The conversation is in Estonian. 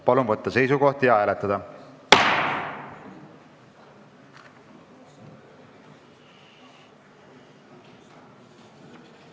Palun võtta seisukoht ja hääletada!